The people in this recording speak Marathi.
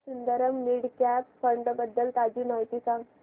सुंदरम मिड कॅप फंड बद्दल ताजी माहिती सांग